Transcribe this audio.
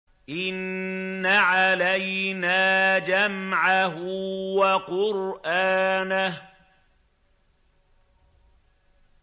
إِنَّ عَلَيْنَا جَمْعَهُ وَقُرْآنَهُ